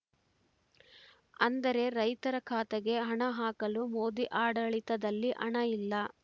ಅಂದರೆ ರೈತರ ಖಾತೆಗೆ ಹಣ ಹಾಕಲು ಮೋದಿ ಆಡಳಿತದಲ್ಲಿ ಹಣ ಇಲ್ಲ